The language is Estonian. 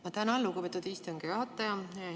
Ma tänan, lugupeetud istungi juhataja!